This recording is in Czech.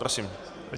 Prosím.